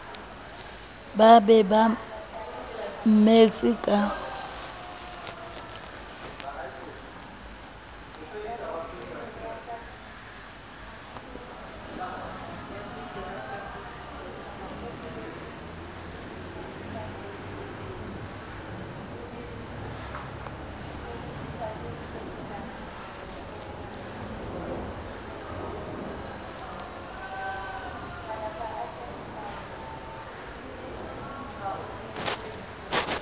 ba be ba mmetse ka